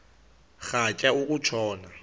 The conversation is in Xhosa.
rhatya uku tshona